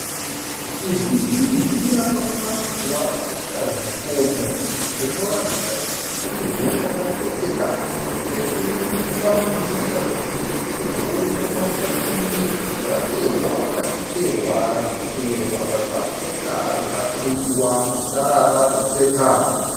Ivhu zhinji rakaunganidzwa rakaita zvikomo. Rinoratidza kuti ivhu rakatsetseka ,ratingafungidzira kuti ivhu rinokwanisa kunge racherwa pachicherwa zvicherwa zvakakosha rikakuyiwa kusara ratsetseka.